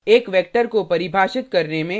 एक वेक्टर को परिभाषित करने में